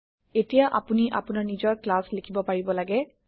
এতিয়া আপোনি আপোনাৰ নিজৰ ক্লাছ লিখিব পাৰিব লাগে